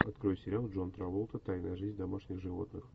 открой сериал джон траволта тайная жизнь домашних животных